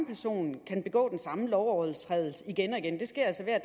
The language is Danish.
person kan begå den samme lovovertrædelse igen og igen det sker altså hver